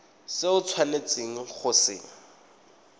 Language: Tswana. se o tshwanetseng go se